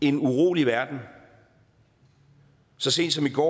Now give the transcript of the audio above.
en urolig verden så sent som i går